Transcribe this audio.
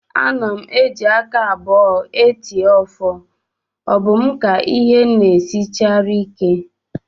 Ana m eji aka abụọ eti ọfọ, ọ bụ mụ ka ịhe na-esinarịchara ike?